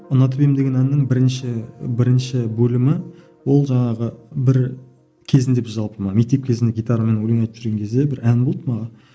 ұнатып едім деген әннің бірінші бірінші бөлімі ол жаңағы бір кезінде біз жалпы мына мектеп кезінде гитарамен өлең айтып жүрген кезде бір ән болды манағы